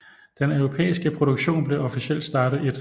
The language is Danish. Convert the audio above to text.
Den europæiske produktion blev officielt startet 1